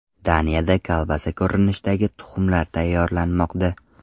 Daniyada kolbasa ko‘rinishidagi tuxumlar tayyorlanmoqda .